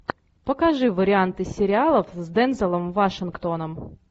покажи варианты сериалов с дензелом вашингтоном